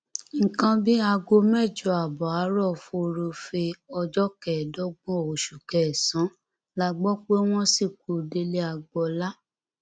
nǹkan bíi aago mẹjọ ààbọ àárọ furuufee ọjọ kẹẹdọgbọn oṣù kẹsànán la gbọ pé wọn sìnkú délé agboolá